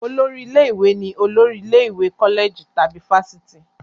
Olórí ilé-ìwé ni olórí ilé ìwé kọ́lẹ̀jì tàbí fáfitì.